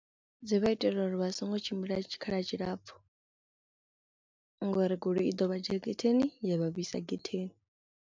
Dzi vha itela uri vha songo tshimbila tshikhala tshilapfu ngori goloi i ḓo vha dzhia getheni ya vha vhuisa getheni.